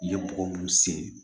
I ye bɔgɔ mun sen